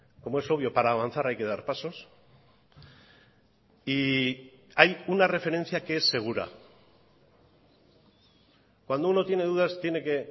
como es obvio para avanzar hay que dar pasos y hay una referencia que es segura cuando uno tiene dudas tiene que